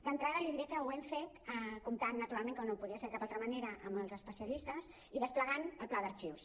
d’entrada li diré que ho hem fet comptant naturalment com no podia ser de cap altra manera amb els especialistes i desplegant el pla d’arxius